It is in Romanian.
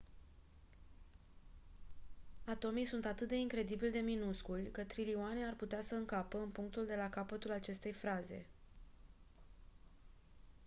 atomii sunt atât de incredibil de minusculi că trilioane ar putea să încapă în punctul de la capătul acestei fraze